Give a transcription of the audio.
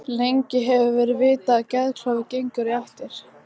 Lengi hefur verið vitað að geðklofi gengur í ættir.